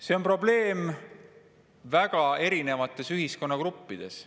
See on probleem väga erinevates ühiskonnagruppides.